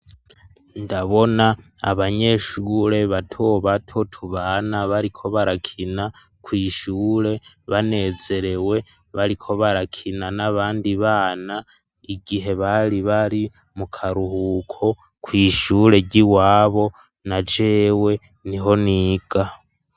Ndabona abanyeshure bato bato tubana, bariko barakina kw'ishure banezerewe, bariko barakina n'abandi bana, igihe bari bari mu karuhuko kw'ishure ryiwabo na jewe niho niga.